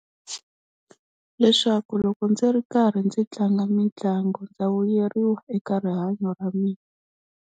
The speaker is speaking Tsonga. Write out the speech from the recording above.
Leswaku loko ndzi ri karhi ndzi tlanga mitlangu ndza vuyeriwa eka rihanyo ra mina.